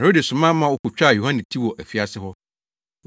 Herode soma ma wokotwaa Yohane ti wɔ afiase hɔ.